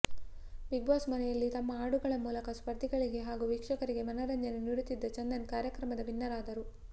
big Boss ಮನೆಯಲ್ಲಿ ತಮ್ಮ ಹಾಡುಗಳ ಮೂಲಕ ಸ್ಪರ್ಧಿಗಳಿಗೆ ಹಾಗೂ ವೀಕ್ಷಕರಿಗೆ ಮನರಂಜನೆ ನೀಡುತ್ತಿದ್ದ ಚಂದನ್ ಕಾರ್ಯಕ್ರಮದ ವಿನ್ನರ್ ಆದರು